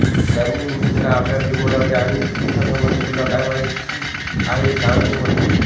त्यांनी नितीशला आपल्या घरी बोलावले आणि कृष्णासंबंधी तुला काय काय माहिती आहे सांग म्हटले